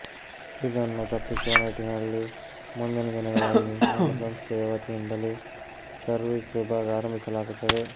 ಇದನ್ನು ತಪ್ಪಿಸುವ ನಿಟ್ಟಿನಲ್ಲಿ ಮುಂದಿನ ದಿನಗಳಲ್ಲಿ ನಮ್ಮ ಸಂಸ್ಥೆಯ ವತಿಯಿಂದಲೇ ಸರ್ವಿಸ್ ವಿಭಾಗ ಆರಂಭಿಸಲಾಗುತ್ತದೆ